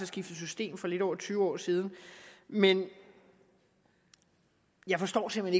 skiftet system for lidt over tyve år siden men jeg forstår simpelt